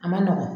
A ma nɔgɔn